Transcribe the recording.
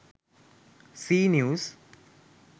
c news